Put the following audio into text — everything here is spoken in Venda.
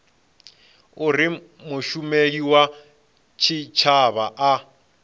uri mushumeli wa tshitshavha a